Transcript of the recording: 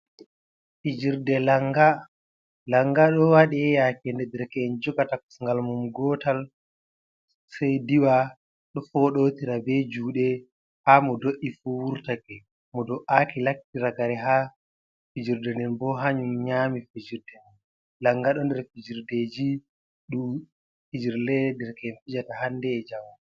Fijirde langa, langa ɗo waɗe yake nde derka’en jugata kosngal mum gotal sai diwa ɗo fodotira be juɗe ha mo do’i fu wurtake, mo do’aki latti ragare ha fijirde den bo hanyum nyami fijirde den langa do nder fijirdeji ɗum fijirlee derke’en fijata hande e jango.